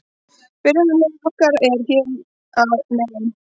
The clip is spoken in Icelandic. Byrjunarliðið okkar er hér að neðan.